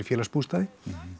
félagsbústaði